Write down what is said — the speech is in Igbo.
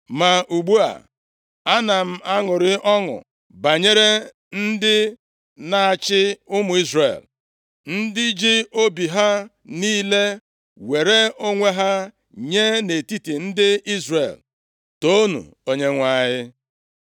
Ma ugbu a, ana m aṅụrị ọṅụ banyere ndị na-achị ụmụ Izrel. Ndị ji obi ha niile were onwe ha nye nʼetiti ndị Izrel. Toonu Onyenwe anyị!